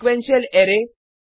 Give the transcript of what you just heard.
sequential array